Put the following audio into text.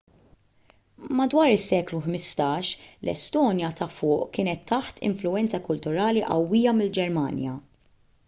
madwar is-seklu 15 l-estonja ta' fuq kienet taħt influwenza kulturali qawwija mill-ġermanja